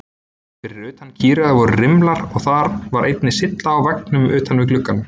Fyrir utan kýraugað voru rimlar og þar var einnig sylla á veggnum utan við gluggann.